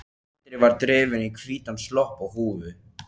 Andri var drifinn í hvítan slopp og húfu.